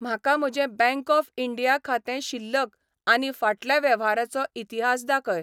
म्हाका म्हजें Bank of India खातें शिल्लक आनी फाटल्या वेव्हाराचो इतिहास दाखय.